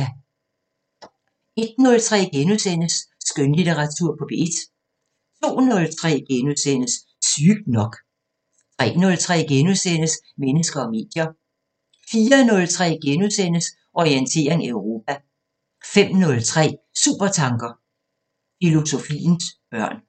01:03: Skønlitteratur på P1 * 02:03: Sygt nok * 03:03: Mennesker og medier * 04:03: Orientering Europa * 05:03: Supertanker: Filosofiens børn